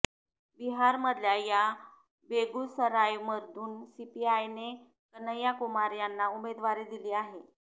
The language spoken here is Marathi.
बिहारमधल्या या बेगुसरायमधून सीपीआयने कन्हैयाकुमार यांना उमेदवारी दिली आहे